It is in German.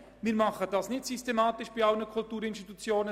Der Kanton tut dies nicht systematisch bei allen Kulturinstitutionen.